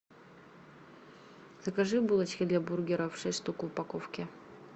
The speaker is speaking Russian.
закажи булочки для бургеров шесть штук в упаковке